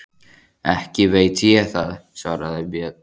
Ekki veit ég það, svaraði Björn.